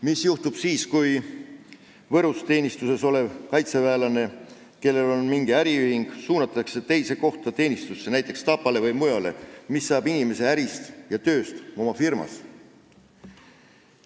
Mis juhtub siis, kui Võrus teenistuses olev kaitseväelane, kellel on mingi äriühing, suunatakse teenistusse teise kohta, näiteks Tapale või mujale, mis saab inimese ärist ja tööst oma firmas?